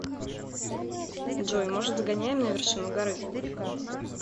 джой может сгоняем на вершину горы